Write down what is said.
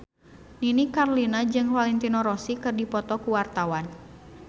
Nini Carlina jeung Valentino Rossi keur dipoto ku wartawan